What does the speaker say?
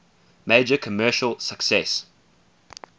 major commercial success